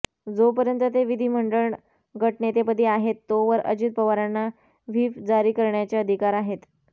जोपर्यंत ते विधीमंडळ गटनेतेपदी आहेत तोवर अजित पवारांना व्हिप जारी करण्याचे अधिकार आहेत